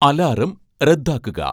alarm റദ്ദാക്കുക